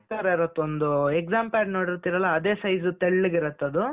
ತರ ಇರುತ್ತೆ ಒಂದು example ನೋಡಿರ್ತೀರಲ್ಲ ಅದೇ size ತೆಳ್ಳಗೆ ಇರತ್ತೆ ಅದು.